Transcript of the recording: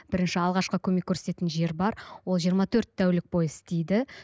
бірінші алғашқы көмек көрсететін жер бар ол жиырма төрт тәулік бойы істейді